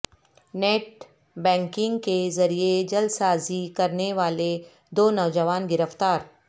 net banking کے ذریعہ جعلسازی کرنے والے دو نوجوان گرفتار